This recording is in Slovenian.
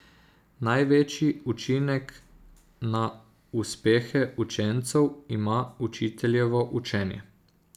Največji učinek na uspehe učencev ima učiteljevo učenje.